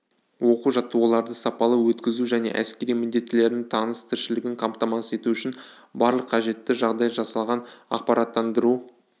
оқу-жаттығуларды сапалы өткізу және әскери міндеттілердің тыныс-тіршілігін қамтамасыз ету үшін барлық қажетті жағдай жасалған ақпараттандыру